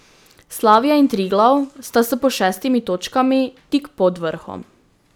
Slavija in Triglav sta s po šestimi točkami tik pod vrhom.